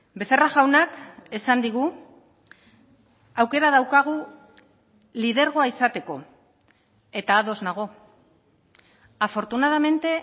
becerra jaunak esan digu aukera daukagu lidergoa izateko eta ados nago afortunadamente